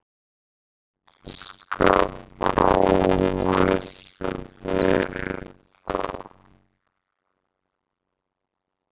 Þetta skapar óvissu fyrir þá.